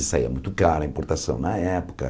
E saía muito caro, a importação na época.